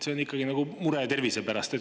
See on ikkagi mure tervise pärast.